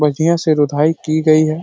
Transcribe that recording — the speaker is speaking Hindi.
बढ़िया से रुदाई की गई है।